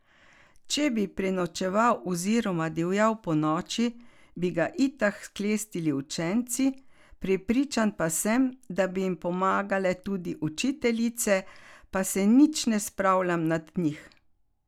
Če bi prenočeval oziroma divjal ponoči, bi ga itak sklestili učenci, prepričan pa sem, da bi jim pomagale tudi učiteljice, pa se nič ne spravljam nad njih.